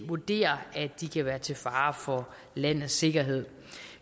vurderer at de kan være til fare for landets sikkerhed